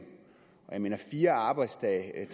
jeg mener at fire arbejdsdage er